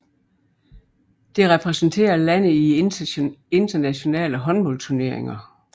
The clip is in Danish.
Det repræsenterer landet i internationale håndboldturneringer